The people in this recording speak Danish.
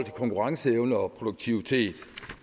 konkurrenceevne og produktivitet